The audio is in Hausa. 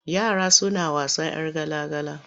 Yara suna wasan 'yar gala-gala.